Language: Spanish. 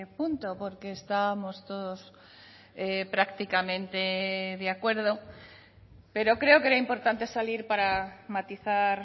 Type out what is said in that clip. punto porque estábamos todos prácticamente de acuerdo pero creo que era importante salir para matizar